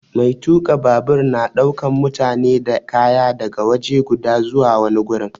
Mai tuka babur na daukan mutane da kaya daga waje guda zuwa wani gurin.